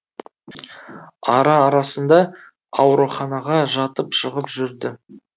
ара арасында ауруханаға жатып шығып жүрді